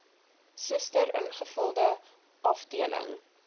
suster ingevulde afdeling